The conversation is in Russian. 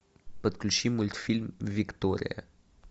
подключи мультфильм виктория